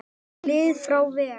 lið frá vegg?